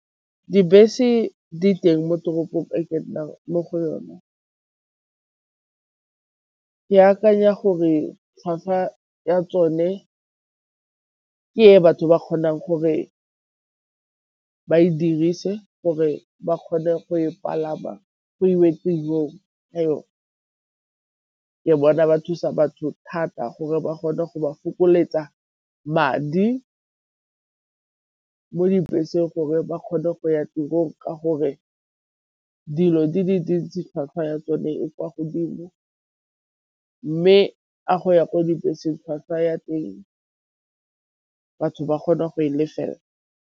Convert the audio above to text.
Dibese di teng mo toropong e ke nnang mo go yona, ke akanya gore tlhwatlhwa ya tsone ke e batho ba kgonang gore ke ba e dirise gore ba kgone go e palama go iwe tirong. Ke bona ba thusa batho thata gore ba kgone go ba fokoletsa madi mo dibeseng gore ba kgone go ya tirong ka gore dilo di le dintsi tlhwatlhwa ya tsone e kwa godimo, mme a go ya ko dibeseng tlhwatlhwa ya teng batho ba kgone go e lefela.